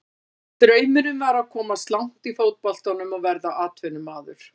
Draumurinn var að komast langt í fótboltanum og verða atvinnumaður.